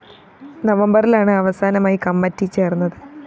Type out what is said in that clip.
നവംബറിലാണ് അവസാനമായി കമ്മറ്റി ചേര്‍ന്നത്